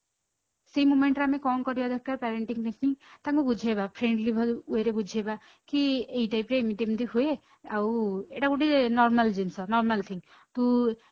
ସେ moment ରେ ଆମେ କଣ କରିବା ଦରକାର parenting missing ତାଙ୍କୁ ବୁଝେଇବା friendly way ରେ ବୁଝେଇବା କି ଏଇ type ରେ ଏମିତି ଏମିତି ହୁଏ ଆଉ ଏଇଟା ଗୋଟେ normal ଜିନିଷ normal thing ତୁ